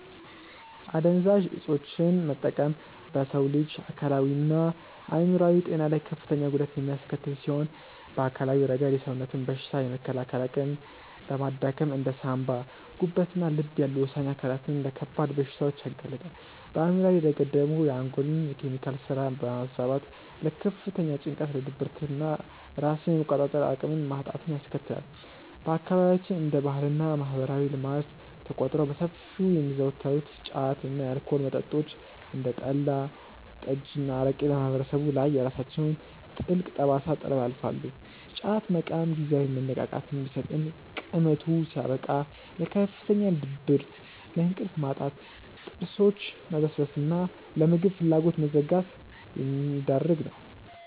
አደንዛዥ እፆችን መጠቀም በሰው ልጅ አካላዊና አእምሯዊ ጤና ላይ ከፍተኛ ጉዳት የሚያስከትል ሲሆን፣ በአካላዊ ረገድ የሰውነትን በሽታ የመከላከል አቅም በማዳከም እንደ ሳንባ፣ ጉበትና ልብ ያሉ ወሳኝ አካላትን ለከባድ በሽታዎች ያጋልጣል፤ በአእምሯዊ ረገድ ደግሞ የአንጎልን የኬሚካል ስራ በማዛባት ለከፍተኛ ጭንቀት፣ ለድብርትና ራስን የመቆጣጠር አቅምን ማጣትን ያስከትላል። በአካባቢያችን እንደ ባህልና ማህበራዊ ልማድ ተቆጥረው በሰፊው የሚዘወተሩት ጫት እና የአልኮል መጠጦች (እንደ ጠላ፣ ጠጅና አረቄ) በማህበረሰቡ ላይ የራሳቸውን ጥልቅ ጠባሳ ጥለው ያልፋሉ፤ ጫት መቃም ጊዜያዊ መነቃቃትን ቢሰጥም ቅመቱ ሲያበቃ ለከፍተኛ ድብርት፣ ለእንቅልፍ ማጣት፣ ለጥርሶች መበስበስና ለምግብ ፍላጎት መዘጋት የሚዳርግ ነው።